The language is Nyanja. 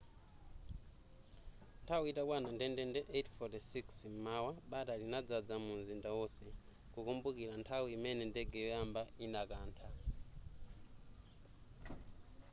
nthawi itakwana ndendende 8:46 m'mawa bata linadzadza munzinda onse kukumbukira nthawi imene ndege yoyamba idakantha